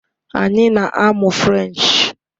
Anyị na-amụ Frenchee